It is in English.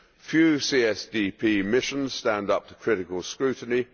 Few CSDP missions stand up to critical scrutiny.